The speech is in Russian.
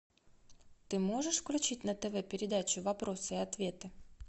ты можешь включить на тв передачу вопросы и ответы